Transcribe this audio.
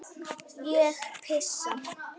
Ég pissa.